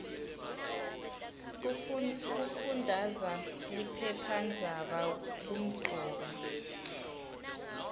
kufundaza liphephandzaba kumcoka